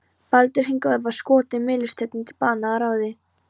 Baldur hinn góði var skotinn mistilteini til bana að ráði